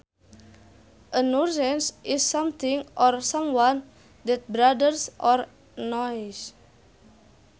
A nuisance is something or someone that bothers or annoys